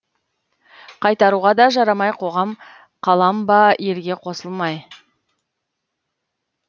қайтаруға да жарамай қоғам қалам ба елге қосылмай